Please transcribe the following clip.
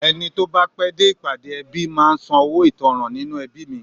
Ẹni tó bá pẹ́ dé ìpàdé ẹbí máa ń sanwó ìtanràn nínú ẹbí mi